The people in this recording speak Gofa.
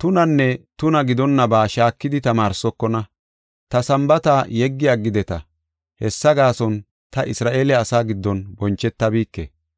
tunanne tunaa gidonna ba shaakidi tamaarsokona; ta Sambaata yeggi aggideta. Hessa gaason ta Isra7eele asaa giddon bonchetabike.